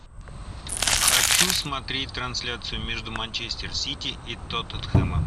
хочу смотреть трансляцию между манчестер сити и тоттенхэмом